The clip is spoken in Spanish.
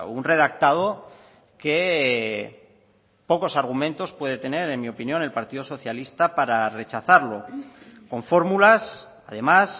un redactado que pocos argumentos puede tener en mi opinión el partido socialista para rechazarlo con fórmulas además